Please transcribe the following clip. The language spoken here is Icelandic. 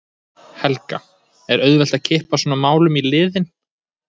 Helga: Er auðvelt að kippa svona málum í liðinn?